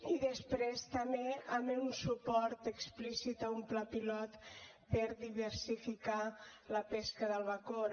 i després també amb un suport explícit a un pla pilot per diversificar la pesca de la bacora